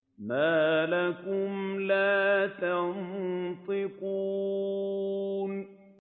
مَا لَكُمْ لَا تَنطِقُونَ